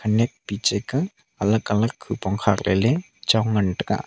khenek piche ke alag alag hupong khat ley chong ngan taiga.